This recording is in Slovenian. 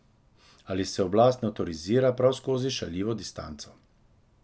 Ali se oblast ne avtorizira prav skozi šaljivo distanco.